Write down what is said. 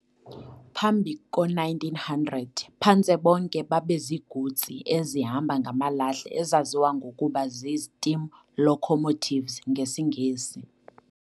Phambi ko-1900, phantse bonke babeziigutsi ezihamba ngamalahle ezaziwa ngokuba zii-steam locomotives ngesiNgesi.